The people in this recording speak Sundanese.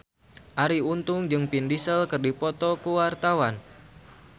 Arie Untung jeung Vin Diesel keur dipoto ku wartawan